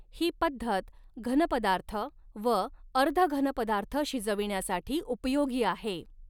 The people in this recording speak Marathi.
ही पद्धत घन पदार्थ व अर्धघन पदार्थ शिजविण्यासाठी उपयोगी आहे.